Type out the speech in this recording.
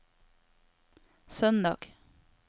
søndag